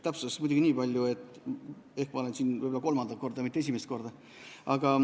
Täpsustuseks muidugi nii palju, et ma olen siin juba kolmandat korda, mitte esimest korda.